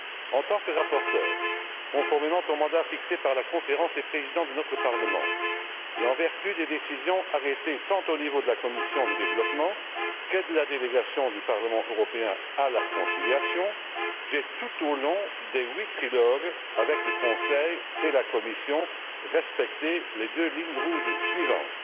En tant que rapporteur, conformément au mandat fixé par la conférence des présidents de notre Parlement, et en vertu des décisions arrêtées tant au niveau de la commission du développement que de la délégation du Parlement européen à la conciliation, j'ai, tout au long des huit trilogues avec le Conseil et la Commission, respecté les deux lignes rouges suivantes.